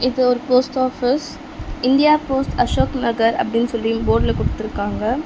இது ஒரு post office India post Ashok Nagar அப்டின்னு சொல்லி இங் போட்ல குடுத்துருக்காங்க.